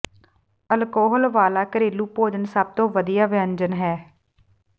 alcohol ਵਾਲਾ ਘਰੇਲੂ ਭੋਜਨ ਸਭ ਤੋਂ ਵਧੀਆ ਵਿਅੰਜਨ ਹੈ